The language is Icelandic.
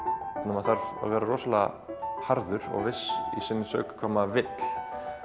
maður þarf að vera rosalega harður og viss í sinni sök hvað maður vill